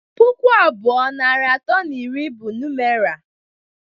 Pụkụ abụọ, narị atọ na iri bụ numera